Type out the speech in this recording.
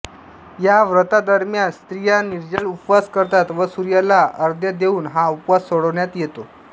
या व्रतादरम्यान स्त्रिया निर्जल उपवास करतात व सूर्याला अर्घ्य देऊन हा उपवास सोडण्यात येतो